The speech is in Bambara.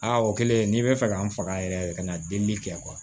Aa o kɛlen n'i bɛ fɛ ka n faga yɛrɛ yɛrɛ de ka na delili kɛ